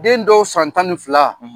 Den dɔw san tan ni fila,